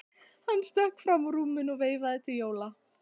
Hann stökk fram úr rúminu og veifaði til Jóa.